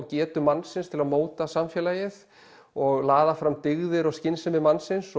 getu mannsins til að móta samfélagið og laða fram dyggðir og skynsemi mannsins